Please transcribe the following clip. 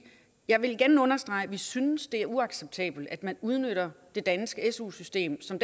jeg vil igen understrege at vi synes det er uacceptabelt at man udnytter det danske su system som